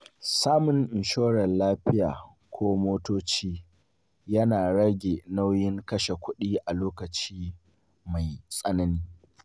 Samun inshorar lafiya ko motoci yana rage nauyin kashe kuɗi a lokaci mai tsanani.